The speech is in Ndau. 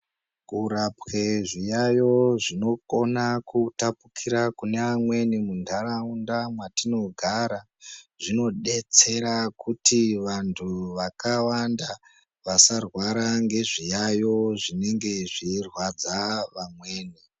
Kurapwe zviyayo zvino kona kutapukira kune amweni mu ndaraunda mwatino gara zvino detsera kuti vantu vakawanda vasa rwara nge zviyayo zvinenge zvei rwadza vamweni.